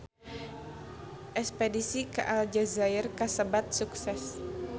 Espedisi ka Aljazair kasebat sukses